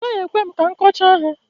ọ gaghị ekwe ka m kọchaa ha